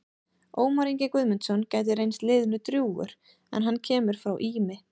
Ómar Ingi Guðmundsson gæti reynst liðinu drjúgur en hann kemur frá Ými.